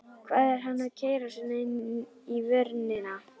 Hvað var hann að keyra svona inn í vörnina?